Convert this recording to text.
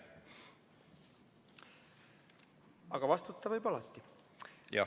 Aga vastata võib alati.